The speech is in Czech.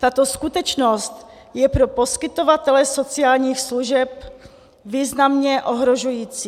Tato skutečnost je pro poskytovatele sociálních služeb významně ohrožující.